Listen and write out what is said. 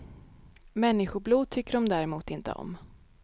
Människoblod tycker de däremot inte om.